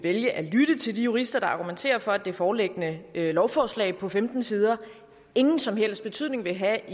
vælge at lytte til de jurister der argumenterer for at det foreliggende lovforslag på femten sider ingen som helst betydning vil have